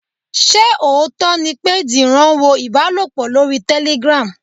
Ṣé òótọ́ ni pé Dìran wo ìbálòpọ̀ lórí Telegram?